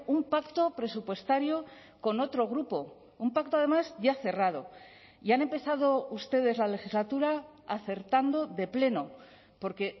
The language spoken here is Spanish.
un pacto presupuestario con otro grupo un pacto además ya cerrado y han empezado ustedes la legislatura acertando de pleno porque